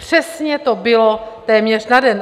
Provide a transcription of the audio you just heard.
Přesně to bylo téměř na den.